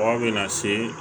Mɔgɔ bɛ na se